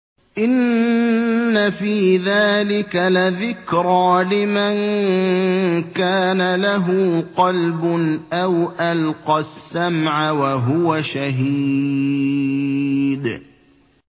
إِنَّ فِي ذَٰلِكَ لَذِكْرَىٰ لِمَن كَانَ لَهُ قَلْبٌ أَوْ أَلْقَى السَّمْعَ وَهُوَ شَهِيدٌ